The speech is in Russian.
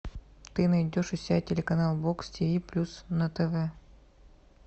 ты найдешь у себя телеканал бокс ти ви плюс на тв